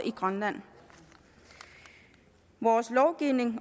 i grønland vores lovgivning